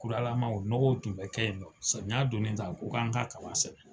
Kolalama o nɔgɔ tun bɛ kɛ yen nɔn, saniya donnen ta ko k'an ka kaba sɛnɛ.